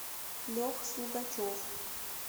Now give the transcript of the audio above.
леха слугачев